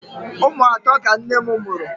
Ụmụ atọ ka nne m mụrụ.